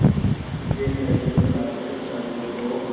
सिद्धेश्वरी ने माथे पर साड़ी को